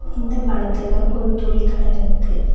இந்த படத்துல ஒரு துணி கடருக்கு.